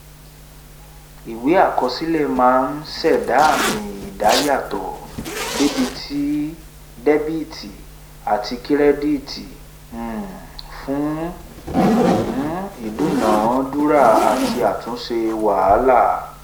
ìwé àkọsílẹ̀ máa ń ṣẹ̀da àmì ìdá yàtò dẹ́bìtì àti kírẹ́dìtì um fún um ìdúnadúrà àti àtúnṣe wàhálà